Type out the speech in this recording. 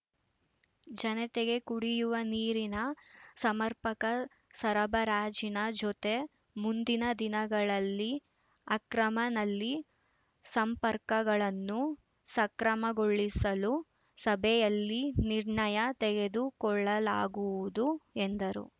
ಜನತೆಗೆ ಕುಡಿಯುವ ನೀರಿನ ಸಮರ್ಪಕ ಸರಬರಾಜಿನ ಜೊತೆ ಮುಂದಿನ ದಿನಗಳಲ್ಲಿ ಅಕ್ರಮ ನಲ್ಲಿ ಸಂಪರ್ಕಗಳನ್ನು ಸಕ್ರಮಗೊಳಿಸಲು ಸಭೆಯಲ್ಲಿ ನಿರ್ಣಯ ತೆಗೆದುಕೊಳ್ಳಲಾಗುವುದು ಎಂದರು